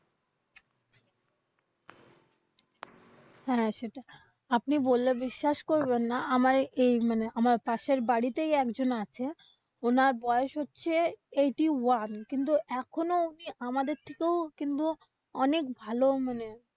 হ্যাঁ সেটাই। আপনি বললে বিশ্বাস করবেন না আমার এই মানে পাশের বাড়িতে একজন আছে, উনার বয়স হচ্ছে eighty one কিন্তু এখনো উনি আমাদের থেকেও কিন্তু অনেক ভালো মানে,